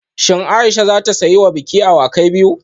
Shin Aisha za ta siya wa biki awakin biyu?